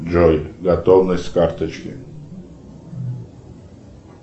джой готовность карточки